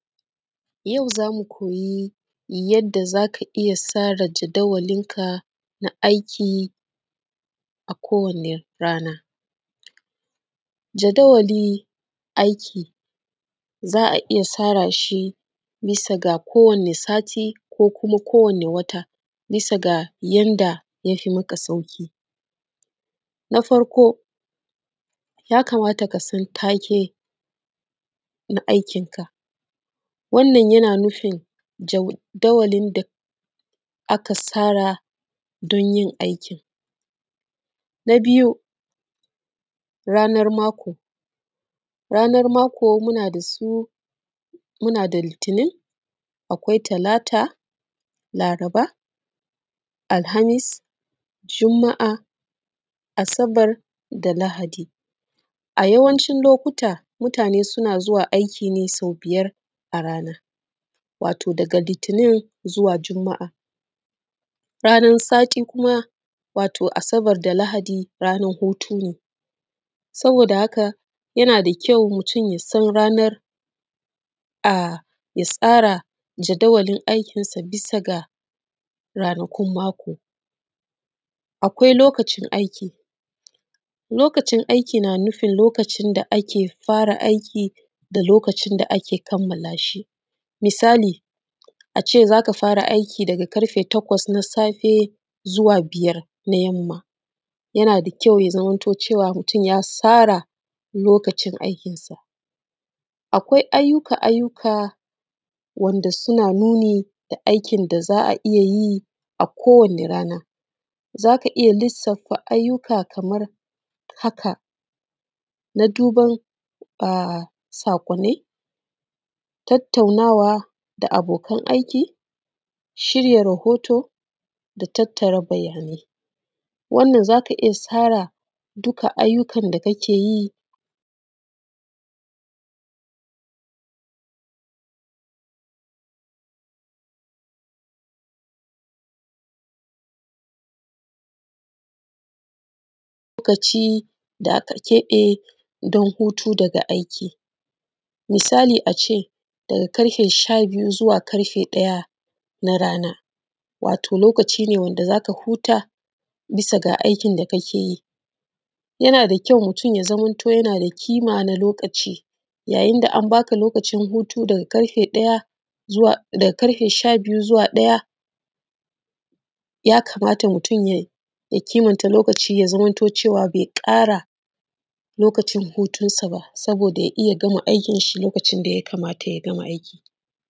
Yau za mu koyi bayani yadda za ka iya tsara jadawalinka na aiki akowane rana jadawalin aiki za a iya tsara shi bisa kowane rana ko wata bisa ga yanda ya fi maka sauƙi, na farko ya kamata ka san take na aikin ka wannan yana nufin jadawalin da aka tsara don yin aikin, na biyu ranakun mako a yawancin lokuta mutane suna zuwa aiki ne so biyar a rana wato daga litini zuwa jumaa ranan sati kuam ranan hutu ne saboda haka mutun ya tsara jadawalin aikin sa bisa ga ranakun mako akwai lokacin aiki yana nufin lokacin da ake fara aiki da kuma kamala shi misali ace takwas na safe zuwa biyar na yamma akwai ayyuka wanda suna nuni da aikin da zaa iya yi da dama